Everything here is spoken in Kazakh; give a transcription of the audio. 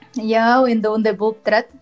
иә енді ондай болып тұрады